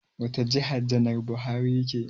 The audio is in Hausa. Wata jiha janar Buhari yake?